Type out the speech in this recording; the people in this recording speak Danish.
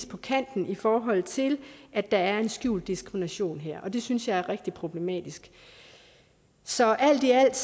på kanten i forhold til at der er en skjult diskrimination her det synes jeg er rigtig problematisk så alt i alt